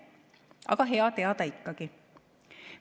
Aga hea teada ikkagi.